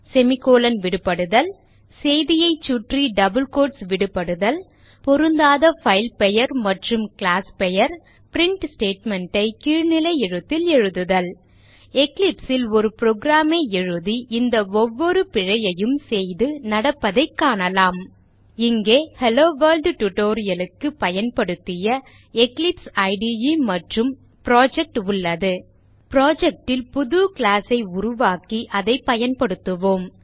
semicolon விடுபடுதல் செய்தியை சுற்றி டபிள் quotes விடுபடுதல் பொருந்தாத பைல் பெயர் மற்றும் கிளாஸ் பெயர் பிரின்ட் statement ஐ கீழ்நிலை எழுத்தில் எழுதுதல் Eclipse ல் ஒரு program ஐ எழுதி இந்த ஒவ்வொரு பிழையையும் செய்து நடப்பதைக் காணலாம் இங்கே ஹெல்லோவொர்ல்ட் tutorial க்கு பயன்படுத்திய எக்லிப்ஸ் இடே மற்றும் புரொஜெக்ட் உள்ளது project ல் புது class ஐ உருவாக்கி அதை பயன்படுத்துவோம்